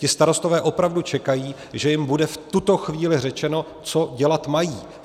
Ti starostové opravdu čekají, že jim bude v tuto chvíli řečeno, co dělat mají.